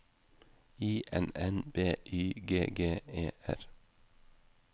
I N N B Y G G E R